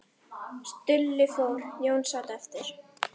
Stulli fór, Jón sat eftir.